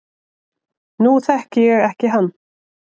Nú þekki ég ekki hann